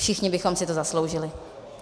Všichni bychom si to zasloužili.